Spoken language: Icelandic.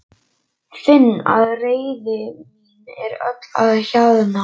Finn að reiði mín er öll að hjaðna.